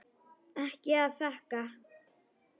Ekkert að þakka